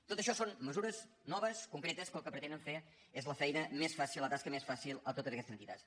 tot això són mesures noves concretes que el que pretenen fer és la feina més fàcil la tasca més fàcil a totes aquestes entitats